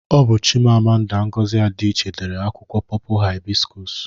Ọ bu Chimamanda Ngozi Adiche dere akwụkwọ pọpul hibịskus